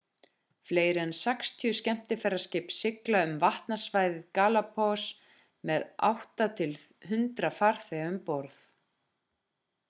fleiri en 60 skemmtiferðaskip sigla um vatnasvæði galapagos með 8-100 farþega um borð